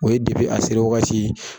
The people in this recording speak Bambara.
O ye a seri wagati